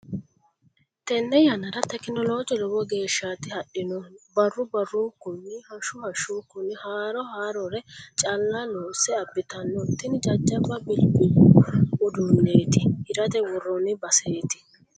Tene yannara tekinoloje lowo geeshshati hadhinohu barru barrunkunni hashshu hashshunkunni haaro haarore calla loose abbittano tini jajjabba bilbilu uduuneti hirate woroni baseti.